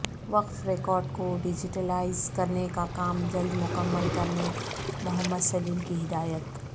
وقف ریکارڈ کو ڈیجیٹلائز کرنے کا کام جلد مکمل کرنے محمد سلیم کی ہدایت